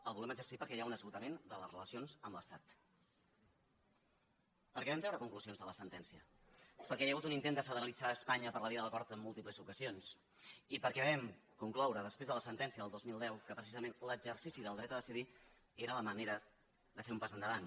el volem exercir perquè hi ha un esgotament de les relacions amb l’estat perquè vam treure conclusions de la sentència perquè hi ha hagut un intent de federalitzar espanya per la via de l’acord en múltiples ocasions i perquè vam concloure després de la sentència del dos mil deu que precisament l’exercici del dret a decidir era la manera de fer un pas endavant